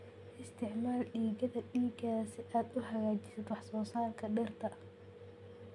Isticmaal digada digaaga si aad u hagaajisid wax soo saarka dhirta.